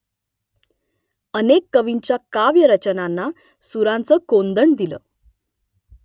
अनेक कवींच्या काव्यरचनांना सुरांचं कोंदण दिलं